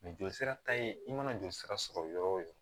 jolisira ka ɲi i mana joli sira sɔrɔ yɔrɔ o yɔrɔ